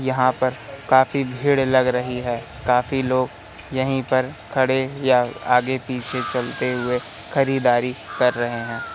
यहां पर काफी भीड़ लग रही है काफी लोग यहीं पर खड़े या आगे पीछे चलते हुए खरीदारी कर रहे--